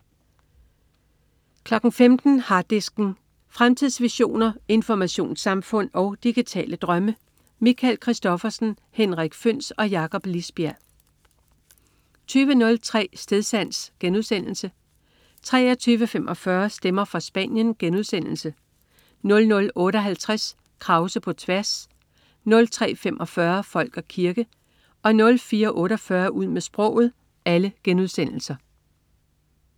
15.00 Harddisken. Fremtidsvisioner, informationssamfund og digitale drømme. Michael Christophersen, Henrik Føhns og Jakob Lisbjerg 20.03 Stedsans* 23.45 Stemmer fra Spanien* 00.58 Krause på tværs* 03.45 Folk og kirke* 04.48 Ud med sproget*